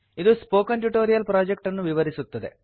ಇದು spoken tutorial project ಅನ್ನು ವಿವರಿಸುತ್ತದೆ